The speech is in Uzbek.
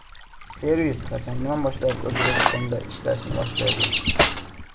Servis qachondan boshlab O‘zbekistonda ishlay boshlaydi?